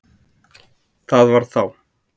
Það var þá